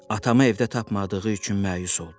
Atamı evdə tapmadığı üçün məyus oldu.